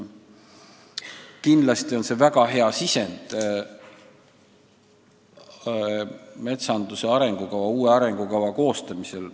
Kindlasti on see väga hea sisend metsanduse uue arengukava koostamisel.